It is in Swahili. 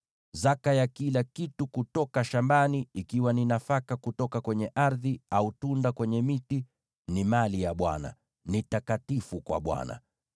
“ ‘Zaka ya kila kitu kutoka shambani, iwe ni nafaka kutoka kwa ardhi, au tunda kutoka kwa miti, ni mali ya Bwana ; ni takatifu kwa Bwana .